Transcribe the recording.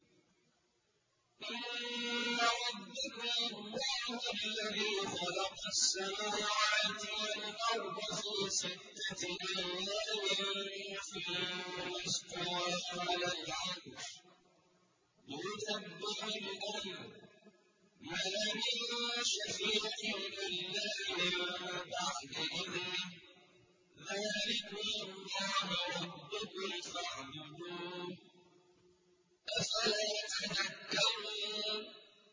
إِنَّ رَبَّكُمُ اللَّهُ الَّذِي خَلَقَ السَّمَاوَاتِ وَالْأَرْضَ فِي سِتَّةِ أَيَّامٍ ثُمَّ اسْتَوَىٰ عَلَى الْعَرْشِ ۖ يُدَبِّرُ الْأَمْرَ ۖ مَا مِن شَفِيعٍ إِلَّا مِن بَعْدِ إِذْنِهِ ۚ ذَٰلِكُمُ اللَّهُ رَبُّكُمْ فَاعْبُدُوهُ ۚ أَفَلَا تَذَكَّرُونَ